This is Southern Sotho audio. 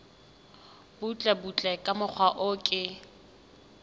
butlebutle ka mokgwa o ke